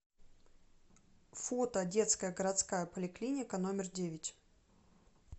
фото детская городская поликлиника номер девять